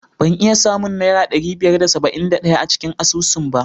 Ban iya samun Naira ɗari biyar da saba'in da ɗaya a cikin asusuna ba.